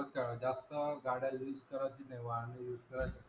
जास्त गाड्या use करायची नाही वाहन use करायची.